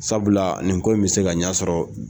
Sabula nin ko in bɛ se ka ɲɛsɔrɔ